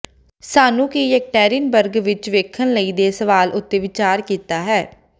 ਸਾਨੂੰ ਕੀ ਯੈਕਟੈਰਿਨਬਰਗ ਵਿੱਚ ਵੇਖਣ ਲਈ ਦੇ ਸਵਾਲ ਉੱਤੇ ਵਿਚਾਰ ਕੀਤਾ ਹੈ